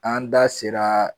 An da sera